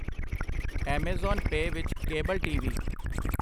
Amazon Pay ਵਿੱਚ cable TV